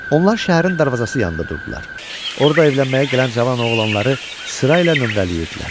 Onlar şəhərin darvazası yanında durdular, orada evlənməyə gələn cavan oğlanları sırayla nömrələyirdilər.